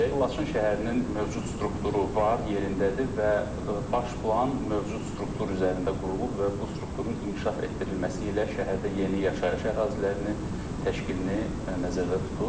Laçın şəhərinin mövcud strukturu var, yerindədir və baş plan mövcud struktur üzərində qurulub və bu strukturun inkişaf etdirilməsi ilə şəhərdə yeni yaşayış ərazilərinin təşkilini nəzərdə tutur.